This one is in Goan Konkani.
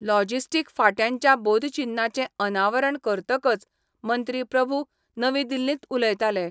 लॉजिस्टीक फांट्याच्या बोधचिन्हाचें अनावरण करतकच मंत्री प्रभू नवी दिल्लींत उलयताले.